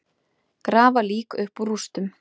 Grafa lík upp úr rústum